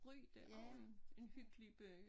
Ry det også en en hyggelig by